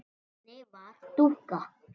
Nonni var dúx.